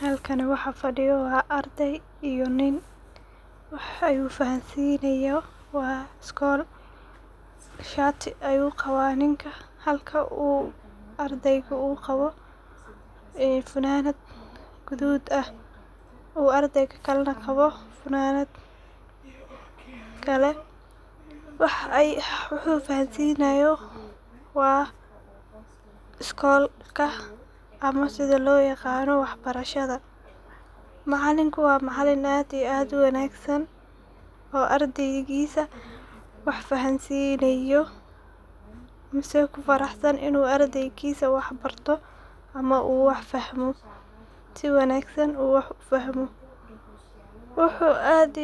Halkan waxa fadiyo waa arday iyo nin, wax ayu fahansinayo wa schoolka shatii ayu qawa ninka ,halka ardayga uu qawo funanad gudud ah halka ardeyga kalena uu qawo funanad kale. Wuxu fahansinayo waa schoolka ama sidha loo yiqano wax barashada ,macalinka waa maalin aad iyo aad u wanagsan oo ardeygisa wax fahansinayo misena ku farahsan inu ardeygisa wax barto ama uu wax fahmo si wanagsan uu wax u fahmo. Wuxu gacanta